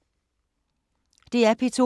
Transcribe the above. DR P2